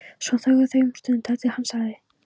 Svo þögðu þau um stund þar til hann sagði